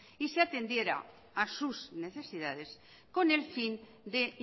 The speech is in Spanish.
y se atendiera a sus necesidades con el fin de